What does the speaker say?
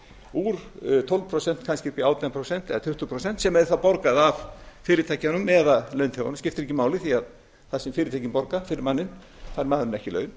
úr tólf prósent kannski upp í átján prósent eða tuttugu prósent sem er þá borgað af fyrirtækjunum eða launþegunum sem skiptir ekki máli því að það sem fyrirtækin borga fyrir manninn fær maðurinn ekki laun